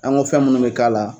An ko fɛn minnu bɛ k'a la